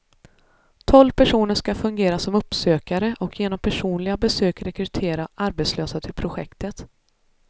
Tolv personer skall fungera som uppsökare och genom personliga besök rekrytera arbetslösa till projektet.